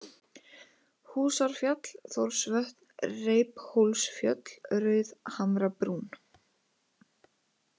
Húsárfjall, Þórsvötn, Reiphólsfjöll, Rauðhamrabrún